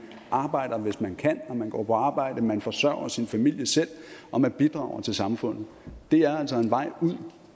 arbejder hvis man kan man går på arbejde man forsørger selv sin familie og man bidrager til samfundet det er altså en vej ud